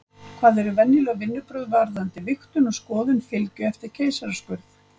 Hvað eru venjuleg vinnubrögð varðandi vigtun og skoðun fylgju eftir keisaraskurð?